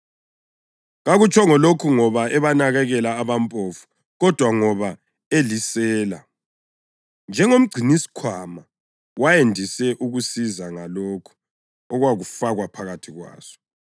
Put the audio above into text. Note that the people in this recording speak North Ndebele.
Kakutshongo lokhu ngoba ebanakekela abampofu, kodwa ngoba elisela; njengomgcinisikhwama wayandise ukuzisiza ngalokho okwakufakwa phakathi kwaso.